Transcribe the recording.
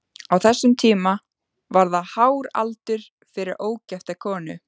Á þessum tíma var það hár aldur fyrir ógifta konu.